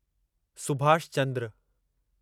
Subhash Chandra